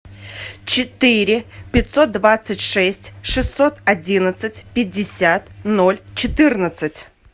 четыре пятьсот двадцать шесть шестьсот одиннадцать пятьдесят ноль четырнадцать